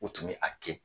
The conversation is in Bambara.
U tun bɛ a kɛ